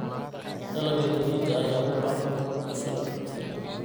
Dalagga galleyda ayaa u baahan roob ku filan.